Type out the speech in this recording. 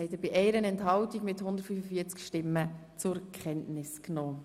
Sie haben Kenntnisnahme beschlossen.